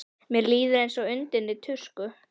Mér líður eins og undinni tusku.